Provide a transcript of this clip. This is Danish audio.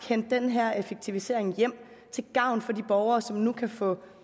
hente den her effektivisering hjem til gavn for de borgere som nu kan få